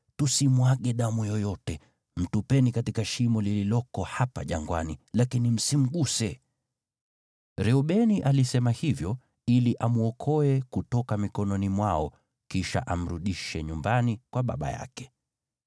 Tusimwage damu yoyote. Mtupeni katika shimo lililoko hapa jangwani, lakini msimguse.” Reubeni alisema hivyo ili amwokoe kutoka mikononi mwao, kisha amrudishe nyumbani kwa baba yake.